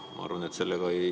Ma arvan, et ...